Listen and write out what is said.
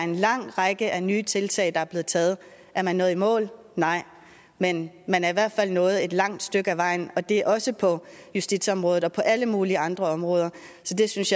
en lang række af nye tiltag der er blevet taget er man nået i mål nej men man er i hvert fald nået et langt stykke ad vejen og det gælder også på justitsområdet og på alle mulige andre områder så jeg synes